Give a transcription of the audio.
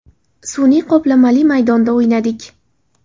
Sun’iy qoplamali maydonda o‘ynadik.